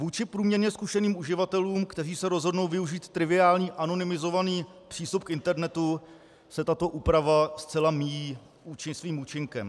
Vůči průměrně zkušeným uživatelům, kteří se rozhodnou využít triviální anonymizovaný přístup k internetu, se tato úprava zcela míjí svým účinkem.